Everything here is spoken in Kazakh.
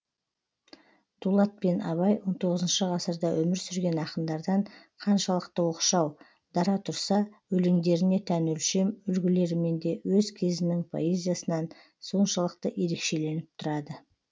дулат пен абай он тоғызыншы ғасырда өмір сүрген ақындардан қаншалықты оқшау дара тұрса өлеңдеріне тән өлшем үлгілерімен де өз кезінің поэзиясынан соншалықты ерекшеленіп тұрады